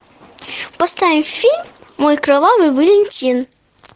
поставим фильм мой кровавый валентин